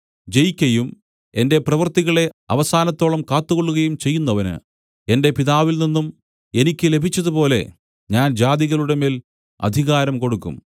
ജയിക്കയും എന്റെ പ്രവൃത്തികളെ അവസാനത്തോളം കാത്തുകൊള്ളുകയും ചെയ്യുന്നവന് എന്റെ പിതാവിൽനിന്നും എനിക്ക് ലഭിച്ചതുപോലെ ഞാൻ ജാതികളുടെമേൽ അധികാരം കൊടുക്കും